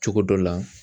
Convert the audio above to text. Cogo dɔ la